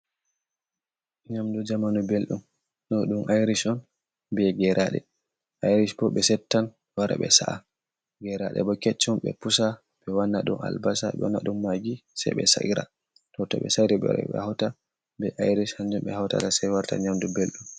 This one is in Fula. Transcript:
Nyamdu zamanu belɗum on ,ɗum aric on be geraaɗe. ayric bo, ɓe settan wara ɓe sa’a. Geraaɗe bo keccum, ɓe pusa, ɓe wanna ɗum albasa, ɓe wanna ɗum magi sey ɓe sayra ,to ɓe sayri ɓe wara, ɓe hawta be ayric, hanjum ɓe hawtata say warta nyamdu belɗum.